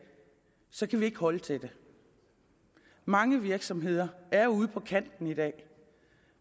så kan vi ikke holde til det mange virksomheder er ude på kanten i dag